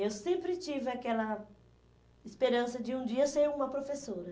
Eu sempre tive aquela esperança de um dia ser uma professora.